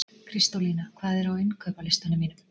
Kristólína, hvað er á innkaupalistanum mínum?